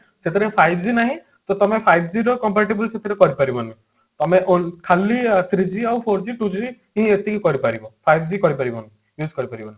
ସେଥିରେ five G ନାହିଁ ତ ତମେ five G ର compare table ସେଥିରେ କରି ପାରିବନି ତମେ ଖାଲି three G ଆଉ four G two G ଏଇ ଏତିକି କରିପାରିବ five G କରି ପାରିବନି use କରି ପାରିବନି